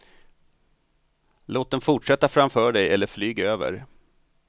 Låt den fortsätta framför dig eller flyg över.